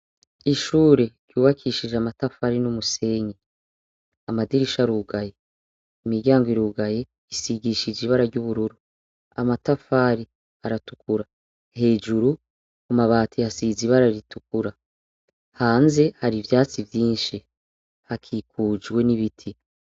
Ishuri ryubakishijwe amatafari n'umusenyi, amadirisha arugaye , imiryango irugaye isigishije ibara ry'ubururu, amatafari aratukura hejuru kumabati hasiz'ibara ritukura ,hanze hari ivyatsi vyinshi, hakikujwe n'ibiti.